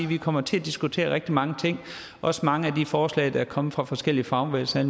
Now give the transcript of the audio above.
vi kommer til at diskutere rigtig mange ting også mange af de forslag der er kommet fra forskellige fagbevægelser